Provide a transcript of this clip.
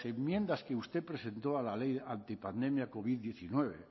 enmiendas que usted presentó a la ley antipandemia covid diecinueve